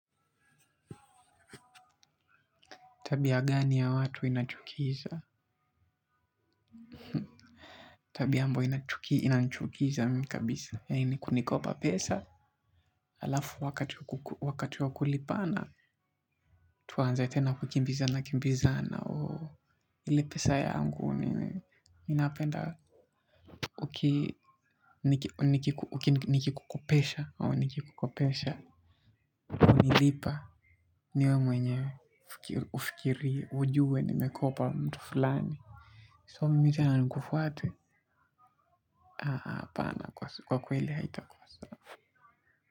Tabia gani ya watu inachukiza? Tabia ambayo inanichukiza mimi kabisa. Yaani ni kunikopa pesa. Alafu wakati wa kulipana. Tuanze tena kukimbizana kimbizana. Ile pesa yangu ninapenda uki nikikukopesha ama nikikukopesha, hunilipa niwe mwenye ufikiri ujue nimekopa mtu fulani. So mimi tena nikufuate. Kwa kweli haitakuwa.